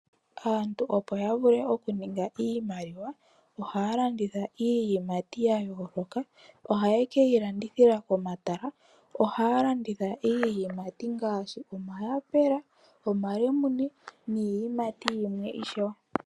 Aantu opo yavule okukala yaninga iimaliwa ohaya landitha iiyimati yayooloka ohaye yilandithile komatala. Ohaa landitha iiyimati ngaashi omahapela, omalemune niiyimati yimwe ishewe.